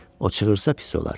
O çığırsa pis olar.